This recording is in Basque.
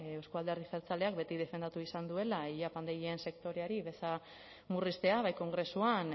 euzko alderdi jeltzaleak beti defendatu izan duela ile apaindegien sektoreari beza murriztea bai kongresuan